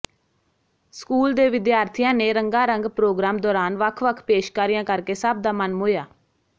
school ਦੇ ਵਿਦਿਆਰਥੀਆਂ ਨੇ ਰੰਗਾਰੰਗ ਪ੍ਰੋਗਰਾਮ ਦੌਰਾਨ ਵੱਖ ਵੱਖ ਪੇਸ਼ਕਾਰੀਆਂ ਕਰਕੇ ਸਭ ਦਾ ਮਨ ਮੋਹਿਆ